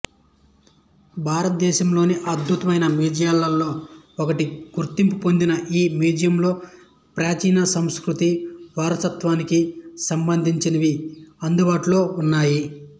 భారతదేశంలోని అద్భుతమైన మ్యూజియంలలో ఒకటిగా గుర్తింపు పొందిన ఈ మ్యూజియంలో ప్రాచీన సంస్కృతి వారసత్వానికి సంబంధించినవి అందుబాటులో ఉన్నాయి